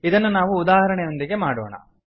ಇದನ್ನು ನಾವು ಉದಾಹರಣೆಯೊಂದಿಗೆ ಮಾಡೋಣ